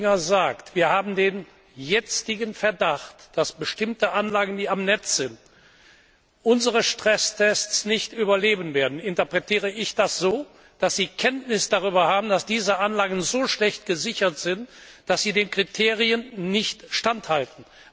Wenn Herr Oettinger sagt Wir haben den Verdacht, dass bestimmte Anlagen, die jetzt am Netz sind, unsere Stresstests nicht überleben werden, interpretiere ich das so, dass Sie Kenntnis davon haben, dass diese Anlagen so schlecht gesichert sind, dass sie den Kriterien nicht standhalten.